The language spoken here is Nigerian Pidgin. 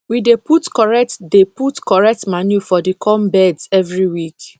we dey put correct dey put correct manure for the corn beds every week